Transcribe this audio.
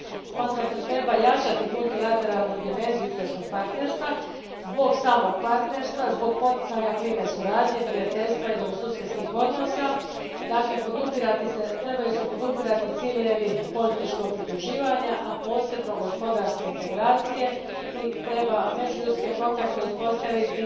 Smatram da treba jačati multilateralnu dimenziju istočnog partnerstva, zbog samog partnerstva, zbog poticanja klime suradnje, prijateljstva i dobrosusjedskih odnosa, dakle trebaju se podupirati ciljevi političkog pridruživanja, a posebno gospodarske integracije i treba uspostaviti međuljudske kontakte, voditi